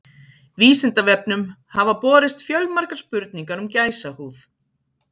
Vísindavefnum hafa borist fjölmargar spurningar um gæsahúð.